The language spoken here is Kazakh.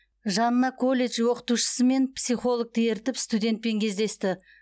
жанына колледж оқытушысы мен психологты ертіп студентпен кездесті